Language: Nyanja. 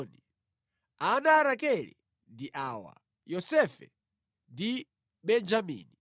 Ana a Rakele ndi awa: Yosefe ndi Benjamini.